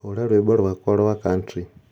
hũra rwĩmbo rwakwa rwa country